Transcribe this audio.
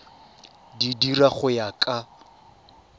di dira go ya ka